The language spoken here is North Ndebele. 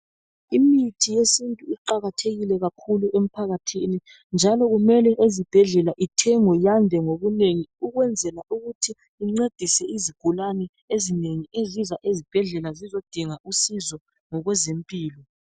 Imithi yesintu iqakathekile kakhulu emphakathini njalo kumele ezibhedlela ithengwe yande ngobunengi ukwenzela ukuthi incedise izigulane ezinengi eziza ezibhedlela zizodinga usizo ngokwezempilo.